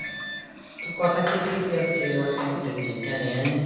তোর কথা কেটে কেটে আসছে অনেক্ষন থেকে কেনে